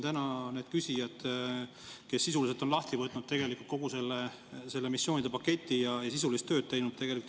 Täna on küsijad sisuliselt lahti võtnud kogu selle missioonide paketi ja on sisulist tööd teinud.